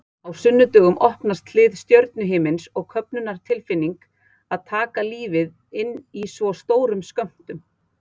Á sunnudögum opnast hlið stjörnuhimins og köfnunartilfinning að taka lífið inn í svo stórum skömmtum.